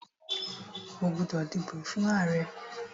O gbódò dìbò fún ààrẹ!